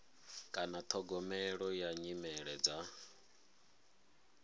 kana ṱhogomelo ya nyimele dza